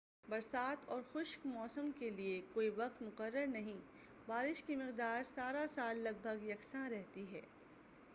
برسات اور خشک موسم کے لیے کوئی وقت مقرر نہیں بارش کی مقدار سارا سال لگ بھگ یکساں رہتی ہے